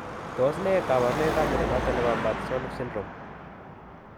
Tos nee kabarunaik ab mnyondo noton nebo Martsolf syndrome ?